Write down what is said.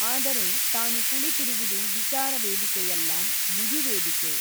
ಆದರೆ ತಾನು ಕುಳಿತಿರುವುದು ವಿಚಾರವೇದಿಕೆಯಲ್ಲ ವಿಧಿವೇದಿಕೆ.